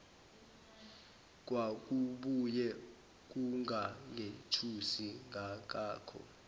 kwakubuye kungangethusi kangako